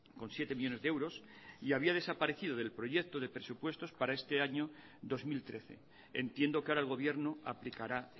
con siete millónes de euros y había desaparecido del proyecto de presupuestos para este año dos mil trece entiendo que ahora el gobierno aplicará